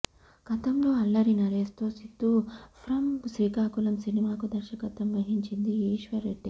గతంలో అల్లరి నరేష్ తో సిద్దు ఫ్రమ్ శ్రీకాకుళం సినిమాకు దర్శకత్వం వహించింది ఈ ఈశ్వర్ రెడ్డే